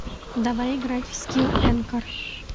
давай играть в скилл энкор